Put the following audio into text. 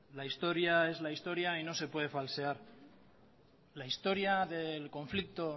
la historia es la historia y no se puede falsear la historia del conflicto